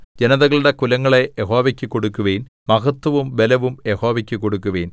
ജനതകളുടെ കുലങ്ങളേ യഹോവയ്ക്ക് കൊടുക്കുവിൻ മഹത്വവും ബലവും യഹോവയ്ക്ക് കൊടുക്കുവിൻ